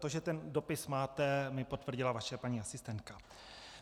To, že ten dopis máte, mi potvrdila vaše paní asistentka.